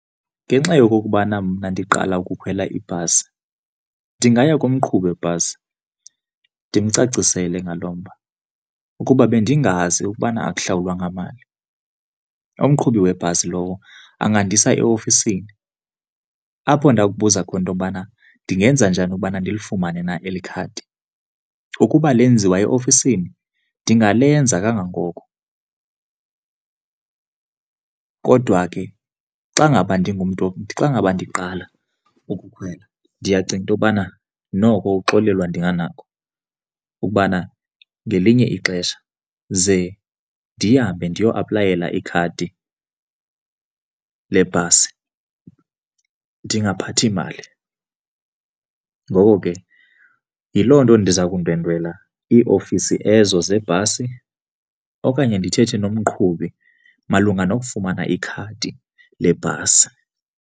Ngenxa yokokubana mna ndiqala ukukhwela ibhasi ndingaya kumqhubi webhasi ndimcacisele ngalo mba. Ukuba bendingazi ukubana okuhlawulwa ngamali, umqhubi webhasi lowo angandisa eofisini apho ndakubuza khona into yobana ndingenza njani ubana ndilifumane na eli khadi, ukuba lenziwa eofisini ndingalenza kangangoko. Kodwa ke xa ngaba ndingumntu, xa ngaba ndiqala ukukhwela ndiyacinga into yokubana noko uxolelwa ndinganako ukubana ngelinye ixesha ze ndihambe ndiye aplayela ikhadi lebhasi ndingaphathi mali. Ngoko ke yiloo nto ndiza kundwendwela iiofisi ezo zebhasi okanye ndithethe nomqhubi malunga nokufumana ikhadi lebhasi.